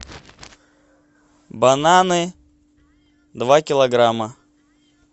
бананы два килограмма